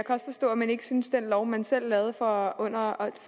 også forstå at man ikke synes den lov man selv lavede for